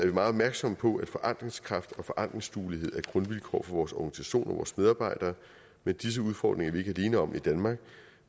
vi meget opmærksomme på at forandringskraft og forandringsduelighed er grundvilkår for vores organisation og for vores medarbejdere men disse udfordringer er vi ikke alene om i danmark